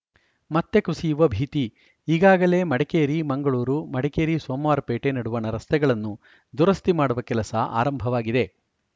ಮತ್ತೆ ಕುಸಿಯುವ ಭೀತಿ ಈಗಾಗಲೇ ಮಡಿಕೇರಿ ಮಂಗಳೂರು ಮಡಿಕೇರಿ ಸೋಮವಾರಪೇಟೆ ನಡುವಣ ರಸ್ತೆಗಳನ್ನು ದುರಸ್ತಿ ಮಾಡುವ ಕೆಲಸ ಆರಂಭವಾಗಿದೆ